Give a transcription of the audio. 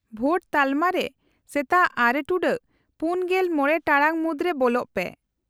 -ᱵᱷᱳᱴ ᱛᱟᱞᱢᱟ ᱨᱮ ᱥᱮᱛᱟᱜ ᱖ᱹ᱔᱕ ᱴᱟᱲᱟᱝ ᱢᱩᱫᱨᱮ ᱵᱚᱞᱚᱜ ᱯᱮ ᱾